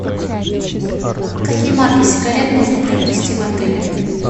какие марки сигарет можно приобрести в отеле